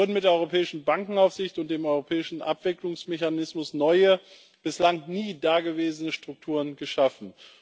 Es wurden mit der europäischen Bankenaufsicht und dem europäischen Abwicklungsmechanismus neue, bislang nie dagewesene Strukturen geschaffen.